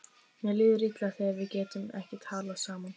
Mér líður illa þegar við getum ekki talað saman.